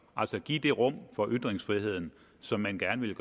altså give det rum for ytringsfriheden som man gerne ville